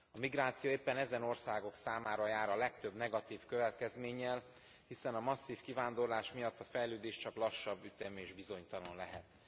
A migráció éppen ezen országok számára jár a legtöbb negatív következménnyel, hiszen a masszív kivándorlás miatt a fejlődés csak lassabb ütemű és bizonytalan lehet.